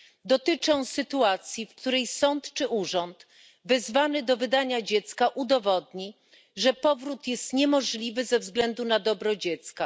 Dotyczy on sytuacji, w której sąd czy urząd wezwany do wydania dziecka udowodni, że powrót jest niemożliwy ze względu na dobro dziecka.